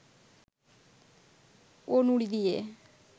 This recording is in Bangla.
ও নুড়ি দিয়ে